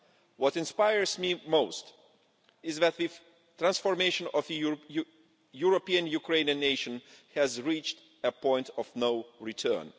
What inspires me most is that the transformation of the European Ukrainian nation has reached a point of no return.